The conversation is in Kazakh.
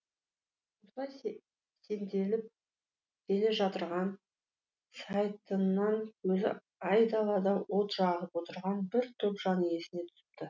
осылай сенделіп келе жатырған сайтыннан көзі айдалада от жағып отырған бір топ жан иесіне түсіпті